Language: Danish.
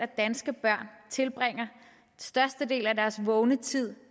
danske børn tilbringer størstedelen af deres vågne tid